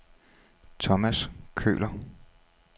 Tomas Køhler